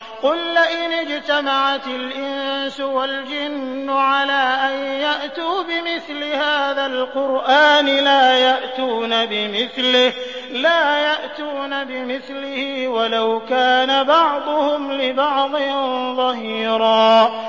قُل لَّئِنِ اجْتَمَعَتِ الْإِنسُ وَالْجِنُّ عَلَىٰ أَن يَأْتُوا بِمِثْلِ هَٰذَا الْقُرْآنِ لَا يَأْتُونَ بِمِثْلِهِ وَلَوْ كَانَ بَعْضُهُمْ لِبَعْضٍ ظَهِيرًا